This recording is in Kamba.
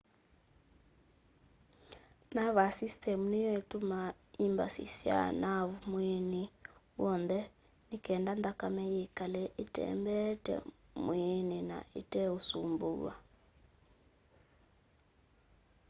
nervous system niyo itumaa imbasi kwa naavu mwiini w'on the nikenda nthakame yikale itembeete mwiini na ite usumbuwa